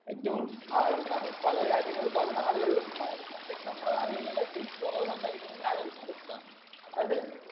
ഏറ്റവും ആഹ് എന്നാണ് പല രാജ്യങ്ങളും പല നാടുകളിലും പ പ്രത്യേകിച്ച് നമ്മളെ നാടുകളിലെല്ലാം ഏറ്റവും കുറവ് സംസാരിക്കുന്നത് ഈ ആരോഗ്യത്തിന കുറിച്ചിട്ടാണ് അതായത്